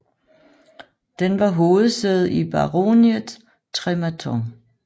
Den var hovedsæde i baroniet Trematon